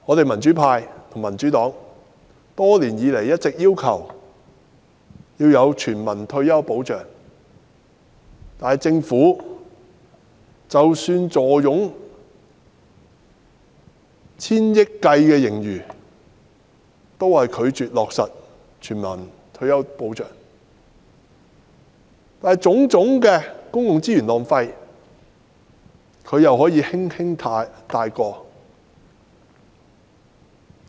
民主派、民主黨多年以來一直要求政府制訂全民退休保障；然而，政府即使坐擁以千億元計的盈餘，仍然拒絕落實全民退休保障，卻可以輕率通過種種浪費公共資源的項目。